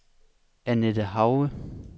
Anette Hauge